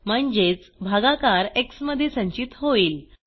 म्हणजेच भागाकार एक्स मध्ये संचित होईल